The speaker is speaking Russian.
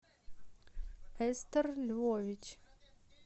эстер львович